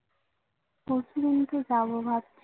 পরশুদিন কে যাবো ভাবছি